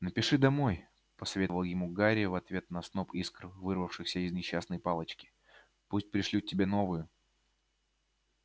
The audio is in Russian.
напиши домой посоветовал ему гарри в ответ на сноп искр вырвавшийся из несчастной палочки пусть пришлют тебе новую